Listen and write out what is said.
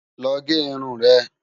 Lò gè irún rè